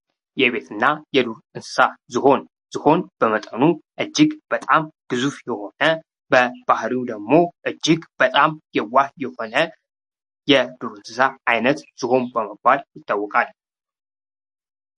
የቤትና የዱር እንስሳ ዝሆን ዝሆን በመጠኑ እጅግ በጣም ግዙፍ የሆነ በባህሪው ደግሞ እጅግ በጣም የዋህ የሆነ የዱር እንስሳ አይነት ዝሆን በመባል ይታወቃል።